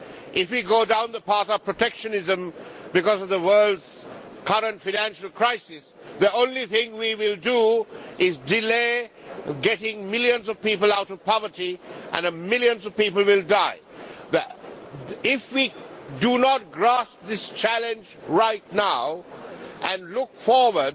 If we go down the path of protectionism because of the world's current financial crisis, the only thing we will do is delay bringing millions of people out of poverty, and millions of people will die. If we do not grasp this challenge right now and look forward